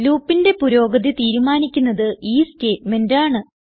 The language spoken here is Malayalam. Loopന്റെ പുരോഗതി തീരുമാനിക്കുന്നത് ഈ സ്റ്റേറ്റ്മെന്റ് ആണ്